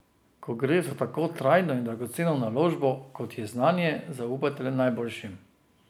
Ko gre za tako trajno in dragoceno naložbo, kot je znanje, zaupajte le najboljšim.